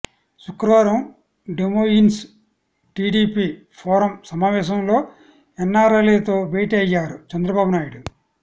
శుక్రావరం Des Moines TDP forum సమావేశంలో ఎన్నారైలతో భేటీ అయ్యారు చంద్రబాబునాయుడు